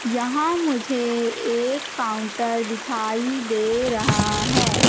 यहां मुझे एक काउंटर दिखाई दे रहा है।